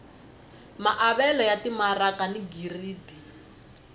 maavelo ya timaraka ni giridi